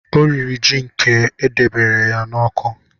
Ọ riri ji nke e debere ya n'uko